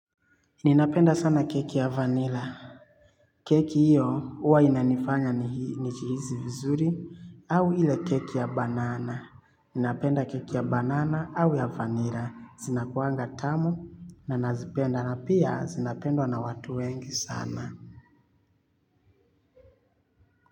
Ninapenda sana keki ya vanilla. Keki hiyo uwa inanifanya nichihisi vizuri au ile keki ya banana. Ninapenda keki ya banana au ya vanilla. Zinakuanga tamu na nazipenda na pia zinapendwa na watu wengi sana.